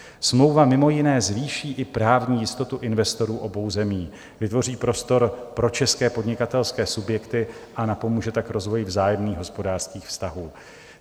Smlouva mimo jiné zvýší i právní jistotu investorů obou zemí, vytvoří prostor pro české podnikatelské subjekty a napomůže tak rozvoji vzájemných hospodářských vztahů.